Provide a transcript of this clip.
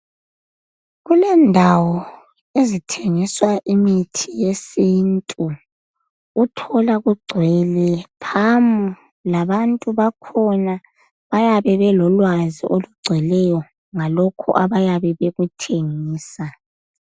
kulendawo ezithengiswa imithi yesintu uthola kugcwele phamu labantu bakhona bayabe belolwazi olugcweleyo ngalokhu abayabe bekuthengisa